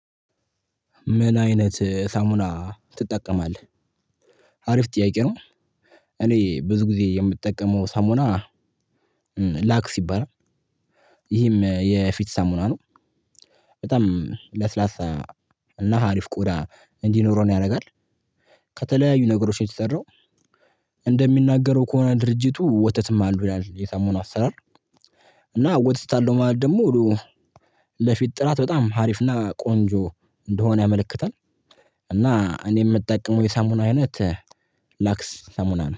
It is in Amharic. ምን አይነት ሳሙና ትጠቀማለህ? አሪፍ ጥያቄ ነው። እኔ ብዙ ጊዜ የምጠቀመው ሳሙና። ላክስ ይባላል። ይህም የፊት ሳሙና ነው። በጣም ለስላሳ እና አሪፍ ቆዳ እንዲኖረን ነው ያደርጋል። ከተለያዩ ነገሮች ነው የተሰራው። እንደሚናገረው ከሆነ ድርጅቱ ወተትም አለው ይላል የሳሙናው አሰራር። እና ወተት አለው ማለት ደግሞ። ለፊት ጥራት በጣም አሪፍና ቆንጆ እንደሆነ ያመለክታል። እና እኔ የምጠቀመው የሳሙና አይነት ላክስ ሳሙና ነው